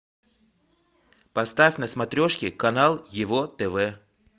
поставь на смотрешке канал его тв